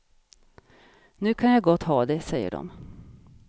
Nu kan jag gott ha det, säger de.